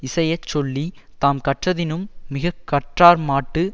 இசையச்சொல்லித் தாம் கற்றதினும் மிக கற்றார்மாட்டு